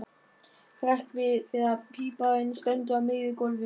Hrekk við þegar píparinn stendur á miðju gólfi.